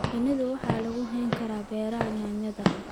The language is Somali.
Shinida waxaa lagu hayn karaa beeraha yaanyada.